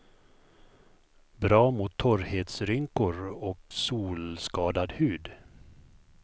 Bra mot torrhetsrynkor och solskadad hud.